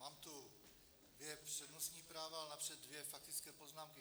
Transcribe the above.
Mám tu dvě přednostní práva, ale napřed dvě faktické poznámky.